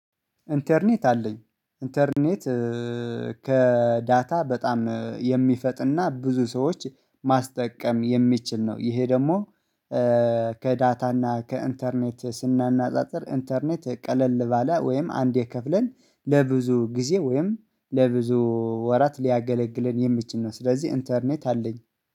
ኢንተርኔት አለኝ። ኢንተርኔት ከዳታ በጣም የሚፈጥን እና ብዙ ሰዎች ማስጠቀም የሚችል ነው። ይሄ ደግሞ ከዳታ እና ከኢንተርኔት ስናነጻጽር፤ ኢንተርኔት ቀለል ባለ ወይም አንድ ከፍለን ለብዙ ጊዜ ወይም ለብዙ ወራት ሊያገለግለን የምችል ነው ስለዚህ ኢንተርኔት አለኝ።